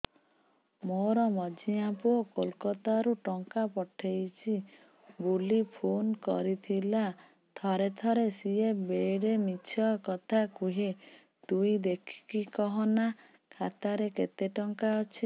ମୋର ମଝିଆ ପୁଅ କୋଲକତା ରୁ ଟଙ୍କା ପଠେଇଚି ବୁଲି ଫୁନ କରିଥିଲା ଥରେ ଥରେ ସିଏ ବେଡେ ମିଛ କଥା କୁହେ ତୁଇ ଦେଖିକି କହନା ଖାତାରେ କେତ ଟଙ୍କା ଅଛି